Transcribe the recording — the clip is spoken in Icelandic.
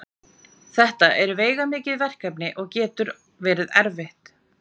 En hvað er póstmódernismi?